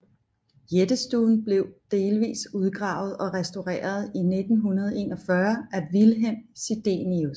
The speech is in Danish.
Jættestuen blev delvis udgravet og restaureret i 1941 af Vilhelm Sidenius